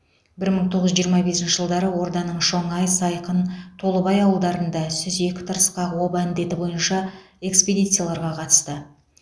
бір мың тоғыз жүз жиырма бесінші жылдары орданың шоңай сайқын толыбай ауылдарында сүзек тырысқақ оба індеті бойынша экспедицияларға қатысты